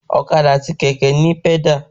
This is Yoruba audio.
Ọ̀kadà àti kẹ̀kẹ́ ni òní pẹ́dà